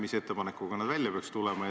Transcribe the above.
Mis ettepanekuga nad välja peaks tulema?